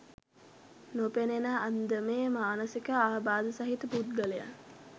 නොපෙනෙන අන්දමේ මානසික ආබාධ සහිත පුද්ගලයන්